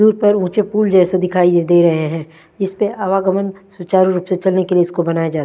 दूर पर मुझे पूल जेसे दिखाई ये दे रहे हैं जिसपे आवागमन सुचारू रूप से चलने के लिए इसको बनाया जा--